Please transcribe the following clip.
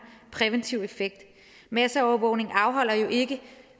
præventiv effekt masseovervågning afholder jo ikke